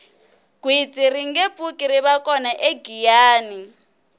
gwitsi ringe pfuki rive kona egiyani